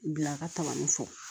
Bila ka tagani fɔ